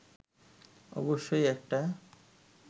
অবশ্যই একটা